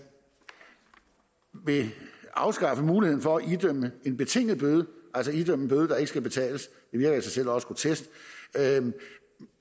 vil afskaffe muligheden for at idømme en betinget bøde altså idømme en bøde der ikke skal betales det virker i sig selv også grotesk